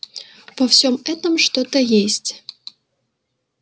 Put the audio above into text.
по всем этом что-то есть